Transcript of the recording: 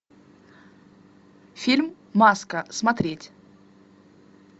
фильм маска смотреть